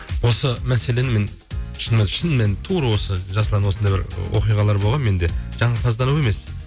осы мәселені мен шынымен тура осы жасұлан осындай бір оқиғалар болған менде жағымпаздану емес